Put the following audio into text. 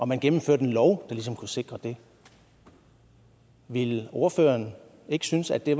man gennemførte en lov der ligesom kunne sikre det ville ordføreren ikke synes at det